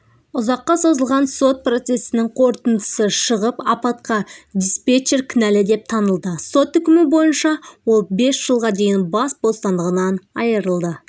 ұзаққа созылған сот процесінің қорытындысы шығып апатқа диспетчер кінәлі деп танылды сот үкімі бойынша ол бес жылға дейін бас бостандығынан айырылды